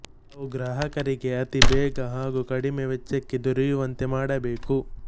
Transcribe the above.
ಅವು ಗ್ರಾಹಕರಿಗೆ ಆತಿ ಬೇಗಹಾಗು ಕಡಿಮೆ ವೆಚ್ಚಕ್ಕೆ ದೊರೆಯುವಂತೆ ಮಾಡಬೇಕು